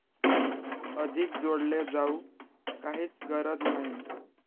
अधिक जोडले जाऊ काहीच गरज नाही!